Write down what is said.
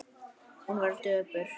Hún var döpur.